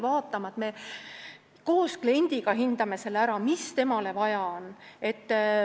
Me koos kliendiga hindame ära, mida temale vaja on.